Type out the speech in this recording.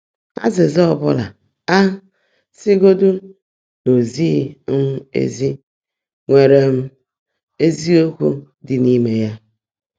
Ázị́zã ọ́ bụ́lá, á sị́gọ́dị́ ná ó zị́ghị́ um ézí, nwèrè um ézíokwú ḍị́ n’íimé yá.